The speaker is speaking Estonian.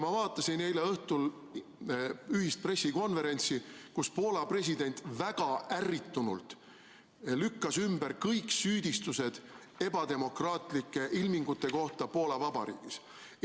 Ma vaatasin eile õhtul ühist pressikonverentsi, kus Poola president väga ärritunult lükkas ümber kõik süüdistused ebademokraatlike ilmingute kohta Poola Vabariigis.